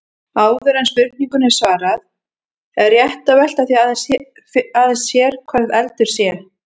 Áður en spurningunni er svarað er rétt að velta því aðeins sér hvað eldur sé.